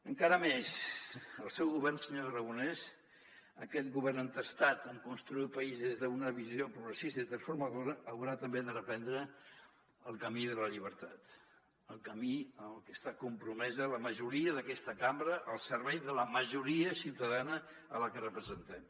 encara més el seu govern senyor aragonès aquest govern entestat en construir el país des d’una visió progressista i transformadora haurà també de reprendre el camí de la llibertat el camí en el que està compromesa la majoria d’aquesta cambra al servei de la majoria ciutadana que representem